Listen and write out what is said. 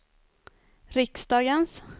riksdagens